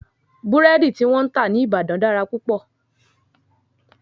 Búrẹ́dí tí wọ́n ń tà ní Ìbàdàn dára púpọ̀.